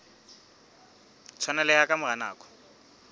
tshwaneleha ka mora nako e